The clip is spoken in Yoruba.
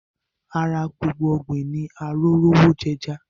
Ara gbòngbò ọ̀gbìn ní Arórówojẹja